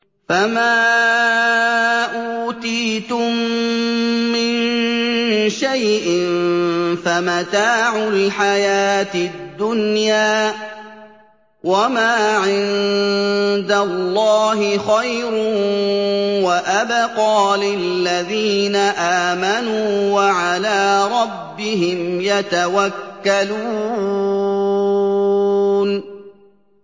فَمَا أُوتِيتُم مِّن شَيْءٍ فَمَتَاعُ الْحَيَاةِ الدُّنْيَا ۖ وَمَا عِندَ اللَّهِ خَيْرٌ وَأَبْقَىٰ لِلَّذِينَ آمَنُوا وَعَلَىٰ رَبِّهِمْ يَتَوَكَّلُونَ